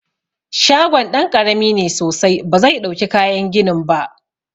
Shagon ɗan ƙarami ne sosai ba zai ɗauki kayan ginin ba.